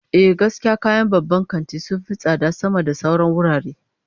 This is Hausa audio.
Ehh, gaskiya kayan babban kanti sun fi tsada sama da sauran wurare